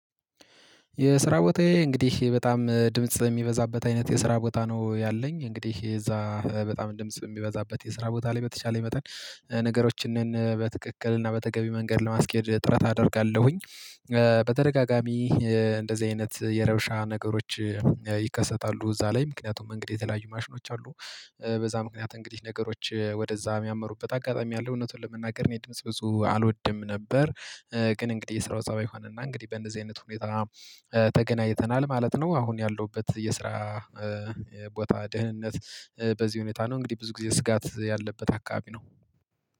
የስራ ቦታዬ እንግዲህ በጣም ድምጽ የሚበዛበት አይነት የስራ ቦታ ነው ያለኝ እንግዲህ እዛ በጣም ድምጽ የሚበዛበት የስራ ቦታ ላይ በተቻለኝ መጠን ነገሮችን በትክክል እና በተገቢ መንገድ ለማስኬድ ጥረት አደርጋለሁኝ። በተደጋጋሚ እንደዚህ አይነት የረብሻ ነገሮች ይከሰታሉ እዛ ላይ ምክንያቱም እንግዲህ የተለያዩ ማሽኖች አሉ። በዛ ምክንያት እንግዲህ ነገሮች ወደዛ የሚያመሩበት አጋጣሚ አለ እውነቱን ለመናገር እኔ ድምጽ ብዙ አልወድም ነበር። ግን እንግዲህ የስራው ፀባይ ሆነና እንግዲህ በእንደዚህ አይነት ሁኔታ ተገናኝተናል ማለት ነው። አሁን ያለሁበት የስራ ቦታ ደህንነት በዚህ ሁኔታ ነው እንግዲህ ብዙ ጊዜ ስጋት ያለበት አካባቢ ነው።